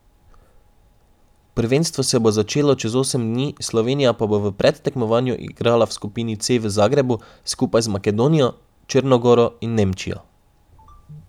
Prvenstvo se bo začelo čez osem dni, Slovenija pa bo v predtekmovanju igrala v skupini C v Zagrebu skupaj z Makedonijo, Črno goro in Nemčijo.